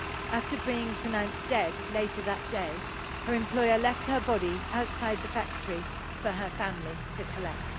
After being pronounced dead later that day, her employer left her body outside the factory for her family to collect.